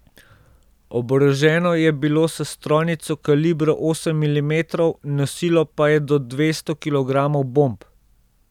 Oboroženo je bilo s strojnico kalibra osem milimetrov, nosilo pa je do dvesto kilogramov bomb.